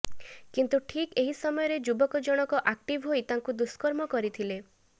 କିନ୍ତୁ ଠିକ୍ ଏହି ସମୟରେ ଯୁବକ ଜଣକ ଆକ୍ଟିଭ୍ ହୋଇ ତାଙ୍କୁ ଦୁଷ୍କର୍ମ କରିଥିଲେ